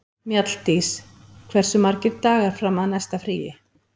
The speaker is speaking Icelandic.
Mjalldís, hversu margir dagar fram að næsta fríi?